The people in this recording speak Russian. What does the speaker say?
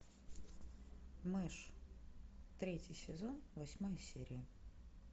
мышь третий сезон восьмая серия